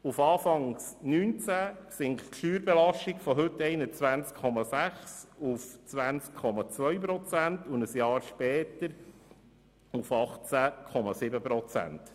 Auf Anfang 2019 sinkt die Steuerbelastung von heute 21,6 Prozent auf 20,2 Prozent und ein Jahr später auf 18,7 Prozent.